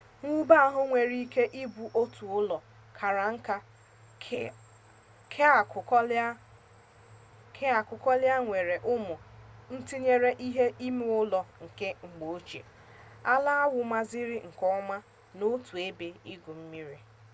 mwube ahụ nwere ike ịbụ otu ụlọ kara nka keakụkọala nwere ụmụ ntinye ihe ime ụlọ nke mgbe ochie ala awụrụmaziri nke ọma na otu ebe igwu mmiri